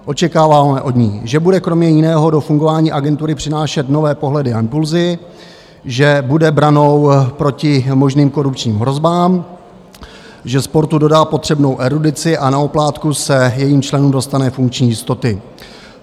Očekáváme od ní, že bude kromě jiného do fungování agentury přinášet nové pohledy a impulzy, že bude branou proti možným korupčním hrozbám, že sportu dodá potřebnou erudici a na oplátku se jejím členům dostane funkční jistoty.